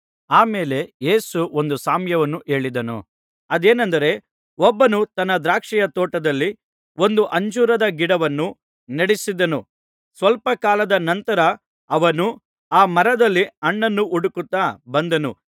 ಆ ಮೇಲೆ ಯೇಸು ಒಂದು ಸಾಮ್ಯವನ್ನು ಹೇಳಿದನು ಅದೇನೆಂದರೆ ಒಬ್ಬನು ತನ್ನ ದ್ರಾಕ್ಷಿಯ ತೋಟದಲ್ಲಿ ಒಂದು ಅಂಜೂರದ ಗಿಡವನ್ನು ನೆಡಿಸಿದನು ಸ್ವಲ್ಪಕಾಲದ ನಂತರ ಅವನು ಆ ಮರದಲ್ಲಿ ಹಣ್ಣನ್ನು ಹುಡುಕುತ್ತಾ ಬಂದನು ಸಿಕ್ಕಲಿಲ್ಲ